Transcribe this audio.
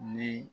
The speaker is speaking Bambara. Ni